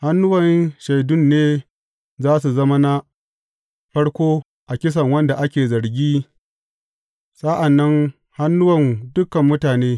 Hannuwan shaidun ne za su zama na farko a kisan wanda ake zargin, sa’an nan hannuwan dukan mutane.